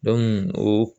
o